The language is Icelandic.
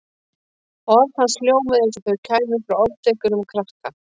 Orð hans hljómuðu eins og þau kæmu frá ofdekruðum krakka.